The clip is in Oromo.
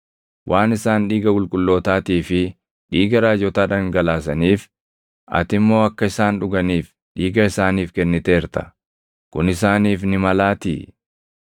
Waan isaan dhiiga qulqullootaatii fi dhiiga raajotaa dhangalaasaniif, ati immoo akka isaan dhuganiif dhiiga isaaniif kenniteerta; kun isaaniif ni malaatii.”